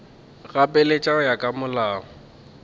gapeletša go ya ka molao